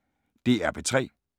DR P3